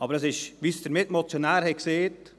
Aber es ist so, wie es der Mitmotionär gesagt hat: